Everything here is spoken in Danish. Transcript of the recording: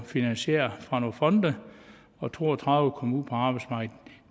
finansieret af nogle fonde og to og tredive kom ud på arbejdsmarkedet